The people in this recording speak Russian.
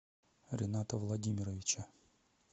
рената владимировича